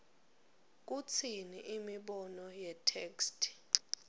kutsini imibono yetheksthi